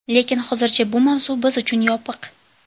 Lekin hozircha bu mavzu biz uchun yopiq.